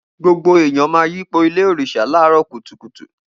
Gbogbo ẹyàn mà yípò Ìlé òrisá làró kútùkútù